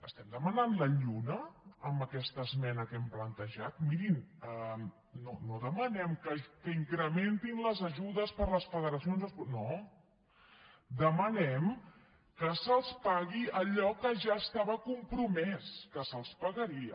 estem de·manant la lluna amb aquesta esmena que hem plan·tejat mirin no demanem que incrementin les ajudes per a les federacions esportives no demanem que se’ls pagui allò que ja estava compromès que se’ls pa·garia